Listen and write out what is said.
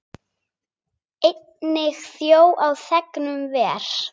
Einnig þjó á þegnum ver.